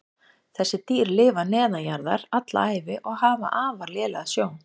Þessi dýr lifa neðanjarðar alla ævi og hafa afar lélega sjón.